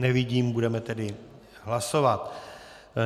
Nevidím, budeme tedy hlasovat.